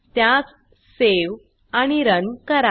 त्यास सावे आणि रन करा